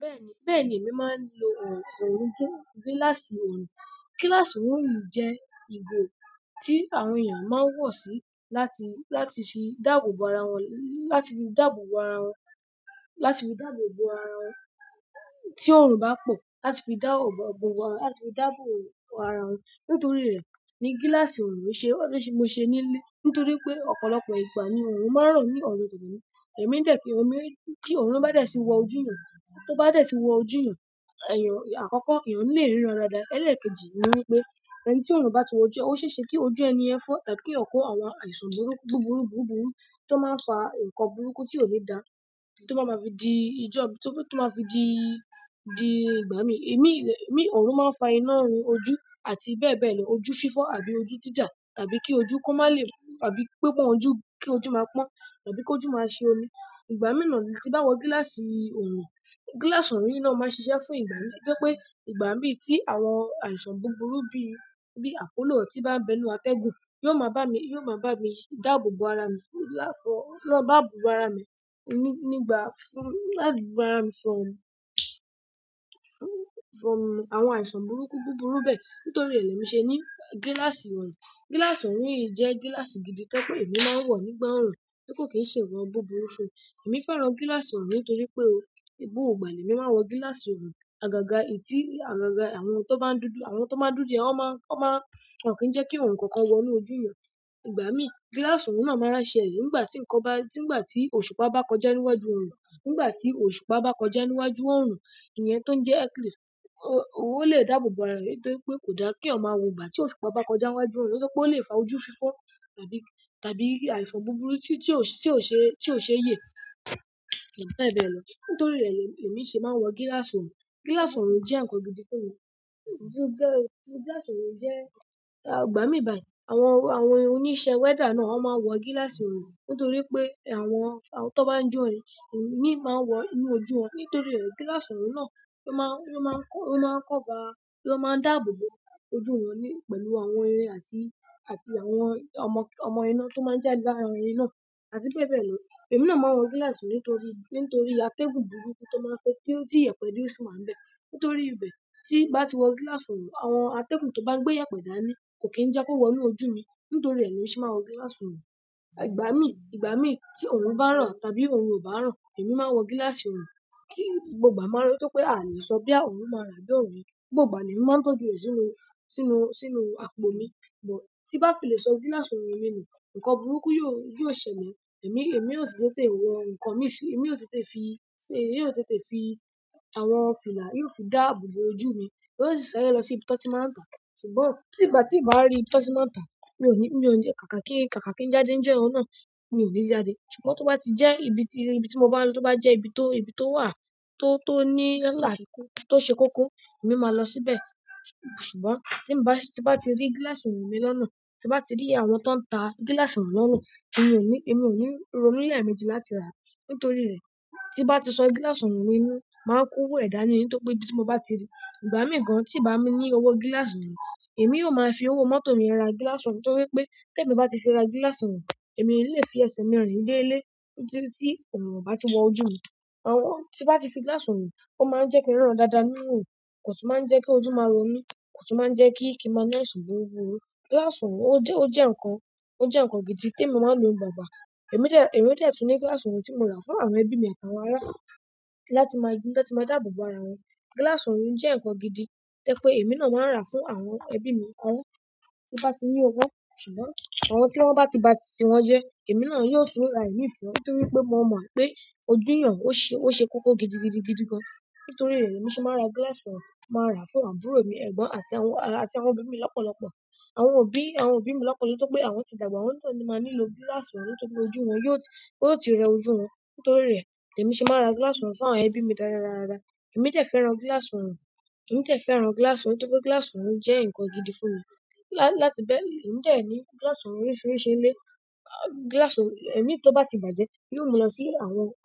Bẹ́ẹ̀ni, bẹ́ẹ̀ni èmi máa ń lo òn- òrùn gé-gíláàsì ọ̀rùn. Gíláàsì ọ̀rùn yìí jẹ́ igo tí àwọn èèyàn máa ń wọ̀ sí láti, láti fi dàbò bo ara wọn, láti fi dàbò bo ara wọn, láti fi dàbò bo ara wọn. Ti orun ba po, láti fi da o o o, láti fi dabo bo ara won. Nítorí rẹ̀ ni gíláàsì ọ̀rùn mi ṣe, mo ṣe nílé. Nítorí pé ọ̀pọ̀lọpọ̀ ìgbà ni ọ̀rùn máa ń ràn ní ọ̀nà. Ẹ̀mí dẹ́ pé ọ̀mí, tí ọ̀rùn bá dé si wọ ojú èèyàn, tó bá dé tí wọ ojú èèyàn, èèyàn àkọ́kọ́ èèyàn lè ríran dáadáa. Ẹ̀lẹ́ kejì ni wípé, ẹni tí ọ̀rùn bá ti wọ ojú e, ó ṣe é ṣe kí ojú ẹni yẹn fọ́, tàbí ki eeyan kó àwọn àìsàn burú, búburú, búburú tó máa ń fa ǹkan burúkú tí ò ni dáa, tó ba máa fi di ìjọ, tó máa fi di, di ìgbà mí. Imi le, imi ọ̀rùn máa ń fa iná rin ojú ojú àti bẹ́ẹ̀ bẹ́ẹ̀ lọ. Ojú fífọ́ àbí ojú jíjà, tàbí kí ojú kó má lè fọ́, àbí pé pon ojú, kí ojú máa pọ́n, àbí kí ojú máa ṣe omi. Ìgbà mí nà ní tí n bá wọ gíláàsì ọ̀rùn, gíláàsì ọ̀rùn yi náà máa ṣiṣẹ́ fún ìgbà mí tojẹ́ pé ìgbà tí àwọn àìsàn búburú bí i, bíi apolò tí bá ń bẹ nú atẹ́gùn, yóò máa bá mi, yóò máa bá mi dàbò bo ara mi fún lá fọ́. Bá bò bo ara mi ni nígbà fún, láti bara mi sọ̀rọ̀, from àwọn àìsàn burúkú búburú bẹ́ẹ̀. Nítorí è lé mi ṣe ní gíláàsì ọ̀rùn. Gíláàsì orùn yìí jẹ́ gíláàsì gidi tojẹ́ pé èmi máa ń wọ̀ nígbà ọ̀rùn, ti kó kì í ṣe wọ́n búburú. Èmi fẹ́ran gíláàsì orùn nítorí pé gbogbo ìgbà ni èmi máa ń wọ gíláàsì ọ̀rùn. Àgàgà ìtí, àgàgà àwọn tó bá ń dúdú, àwọn tó máa ń dúdú yẹn ó máa, ó máa won o kí jẹ́ kí orun ǹkankan wọ nú ojú èèyàn. Ìgbà mí gíláàsì orùn náà máa ránṣẹ́ yìí nígbà tí ǹkan bá, nígbà tí òṣùpá bá kọjá níwájú ọ̀rùn. Nígbà tí òṣùpá bá kọjá níwájú orùn, èèyàn tó ń jẹ eclipse o-ọwọ́ lè dàbò bo ara rẹ̀ nítorí pé kò dáa kí ọmọ wọ ìgbà tí òṣùpá bá kọjá níwájú ọ̀rùn nítorí pé ó lè fa ojú fífọ́ tàbí, tàbí àìsàn búburú tí, tí ti ò ṣe, tí ò ṣe yé, àbí bẹ́ẹ̀ bẹ́ẹ̀ lọ. Nítorí rẹ̀ lèmi ṣe máa ń wọ gíláàsì ọ̀rùn. Gíláàsì orùn jẹ́ ǹkan gidi tó funmi. Jẹ́, gíláàsì ọ̀rùn jẹ́, àgbà mí báyìí. Àwọn, àwọn oníṣẹ́ wẹ́dà náà ó máa ń wọ gíláàsì ọ̀rùn nítorí pé àwọn, àwọn tó bá ń jó imi máa ń wọ inú ojú wọn. Nítorí rẹ̀ gíláàsì orùn náà ló máa ń, lo maa n, ló máa ń cover, ló máa ń dàbò bo ojú wọn ní-- pẹ̀lú àwọn irin àti, àti àwọn ọmọ, ọmọ iná tó máa ń jádé lára irin náà, àti bẹ́ẹ̀ bẹ́ẹ̀ lọ. Èmi náà máa ń wọ gíláàsì nítorí, nítorí atẹ́gùn burúkú tó máa ń fẹ́ kí ti ìyẹ̀pẹ̀dẹ́ jù si wa ń bẹ́. Nítorí ibẹ̀ tí n bá ti wọ gíláàsì ọ̀rùn, àwọn atẹ́gùn tó bá n gbé yẹ̀pẹ̀dà ni kò kí ń jẹ́ kó wọ inú ojú mi. Nítorí rẹ̀ ni èmi ṣe máa ń wọ gíláàsì ọ̀rùn. Ìgbà mí, ìgbà mí tí ọ̀rùn bá ràn tàbí ọ̀rùn kò bá ràn, èmi máa ń wọ gíláàsì ọ̀rùn. Ki gbogba ma run ju pe alẹ́ so boya orun ma ran bi o ni ran, gbogbo ìgbà ni emi maa n tọ́jú re sínú sínú sínú àpò mi ti n ba fi le so gíláàsì mi nu nkan burúkú yi o ṣẹlẹ̀. Èmi, èmi ó sì tètè wọ ǹkan mi sí, èmi ó tètè fi, fi, yóò tètè fi àwọn fìlà, iru fi dàbò bo ojú mi. Jo o sì ṣare lọ sí ibi to ti máa ń tà. Ṣùgbọ́n tí bà tí ìbá rí ibi tí ó ti máa ń tà, mi ò ní, mi ò ní, kàkà kí n, kàkà kí n jáde níjo yenn oùn náà ni ò ní jáde. Ṣùgbọ́n tó bá ti jẹ́ ibi tí, ibi tí mo bá n lọ, tó bá jẹ́ ibi tó, ibi tó wà, tó, tó ní lálàrí, tó ṣe kúkú, èmi máa lọ síbẹ̀. Ṣùgbọ́n tí bá, tí bá ti rí gíláàsì ọ̀rùn mi lọ́nà, tí bá ti rí àwọn tó ń ta gíláàsì ọ̀rùn lọ́nà, èmi ò ní, èmi ò ní ronú lẹ̀ méjì láti rà á. Nítorí rẹ̀ tí bá ti sọ gíláàsì ọ̀rùn mi nù, màá ko owò ẹ̀dá ni nítorí pé ibi tí mo bá ti rí. Ìgbà mí gan tí n bá ní owó gíláàsì orùn, èmi yóò máa fi owó mọ́tò mi ra gíláàsì orùn nítorí pé tí èmi bá ti fi ra gíláàsì ọ̀rùn, èmi lè fi ẹsẹ̀ mi rìn dé ilé tí, tí orùn o bá ti wọ ojú mi. Àwọn tí bá ti fi gíláàsì orùn, ó máa ń jẹ́ kí n riràn dáadáa nínú orùn, kò tún máa ń jẹ́ kí ojú máa ro mí, kò tún máa ń jẹ́ kí, kí ma ni àìsàn burúbúru. Gíláàsì orùn ó jẹ́, ó jẹ́ ǹkan, ó jẹ́ ǹkan gidi tí èmi máa ń lo bàbá. Èmi dẹ́, èmi dẹ́ tún ní gíláàsì ọ̀rùn tí mo rà fún àwọn ẹbí mi àti àwọn ará mii láti máa, láti máa dàbò bo ara wọn. Gíláàsì orùn jẹ́ ǹkan gidi tẹ́ pé èmi náà máa ń rà fún àwọn ẹbí mi kan tí bá ti ní owó. Ṣùgbọ́n àwọn tí wọ́n bá ti, bá ti ti wọn jẹ, èmi náà yóò tún ra ími fún wọn nítorí pé mo mọ̀ pé ojú èèyàn ó ṣe, ó ṣe koko gidi, gidi, gidi gan. Nítorí rẹ̀ èmi ṣe máa ń ra gíláàsì orùn, màá rà fún àbúrò mi ẹ̀gbọ́n àti àwọn, àti àwọn òbí mi lọ́pọ̀lọpọ̀. Àwọn òbí, àwọn òbí mi lọ́pọ̀lọpọ̀ nítorí pé àwọn ti dàgbà, awọ́n náà máa nílò gíláàsì orun nítorí ojú wọn, yóò ti rẹ ojú wọn nítorí re ni emi se maa n ra gíláàsì orun fún àwọn ebi mi dáradára emi dé fẹ́ràn gíláàsì orun. Gíláàsì orùn nítorí gíláàsì orun jẹ nkan gidi fún mi, láti bẹ, emi de ni gíláàsì orun oríṣiríṣi ni ile, gíláàsì orun imi ti o bati bàjẹ́, ihn mu lọ si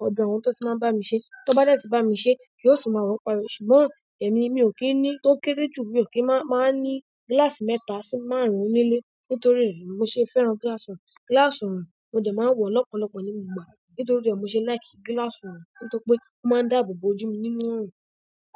ọdọ àwọn to ti maa n ba mi se ti wọn ba de ti bámi ṣé mo tun ma wọ padà ṣùgbọ́n emi n ki n ni to kere ju mi o ki maa n ma ni gíláàsì mẹ́ta si máàrún ni ile, nítorí rẹ ni mo se fẹ́ràn gíláàsì orun, gíláàsì orun mo dé maa n wo ni ọ̀pọ̀lọpọ̀ ni gbogbo ìgbà, nítorí re ni mo se like gíláàsì orun nítorí pe o maa n dabo bo ojú mi nínú orun.